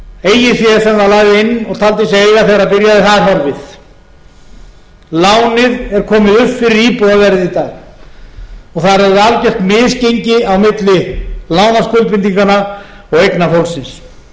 sem það lagði inn og taldi sig eiga þegar það byrjaði er horfið lánið er komið upp fyrir íbúðarverðið í dag og það er orðið algjört misgengi á milli lánaskuldbindinganna og eigna